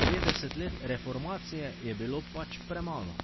Petdeset let reformacije je bilo pač premalo.